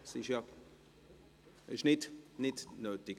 – Das ist nicht nötig.